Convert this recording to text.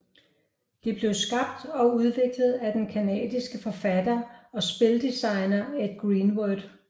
Det blev skabt og udviklet af den canadiske forfatter og spildesigner Ed Greenwood